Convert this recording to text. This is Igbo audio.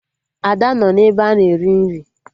Ada nọ n'ebe a na-eri nri